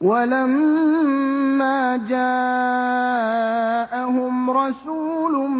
وَلَمَّا جَاءَهُمْ رَسُولٌ